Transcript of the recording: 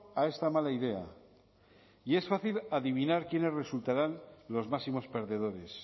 a esta mala idea y es fácil adivinar quiénes resultarán los máximos perdedores